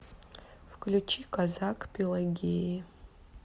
включи казак пелагеи